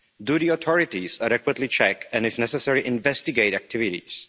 Do the authorities adequately check and if necessary investigate activities?